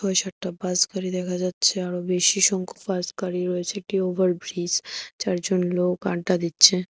দু সারটা বাস গাড়ি দেখা যাচ্ছে আরো বেশি সংখ্যক বাস গাড়ি রয়েছে একটি ওভার ব্রিস চারজন লোক আড্ডা দিচ্ছে।